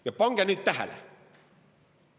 Ja pange nüüd tähele!